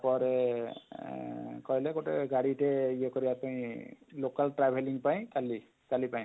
ପରେ ଅଁ ଅଁ ଅଁ କହିଲେ ଗୋଟେ ଗାଡି ଟେ ଇଏ କରିବା ପାଇଁ ଅଁ local traveling ପାଇଁ ଖାଲି କାଲି ପାଇଁ,